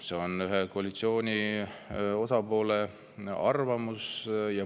See on koalitsiooni ühe osapoole arvamus.